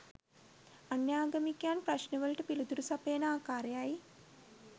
අන්‍යාගමිකයන් ප්‍රශ්නවලට පිළිතුරු සපයන ආකාරයයි